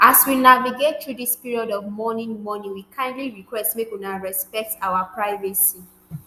“as we navigate through dis period of mourning mourning we kindly request make una respect our privacy.